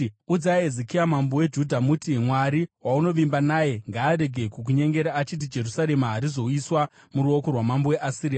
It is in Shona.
“Udzai Hezekia mambo weJudha muti: Mwari waunovimba naye ngaarege kukunyengera achiti, ‘Jerusarema harizoiswa muruoko rwamambo weAsiria.’